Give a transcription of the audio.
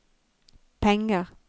penger